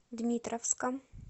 дмитровском